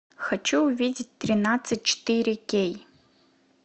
хочу увидеть тринадцать четыре кей